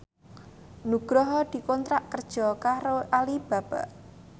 Nugroho dikontrak kerja karo Alibaba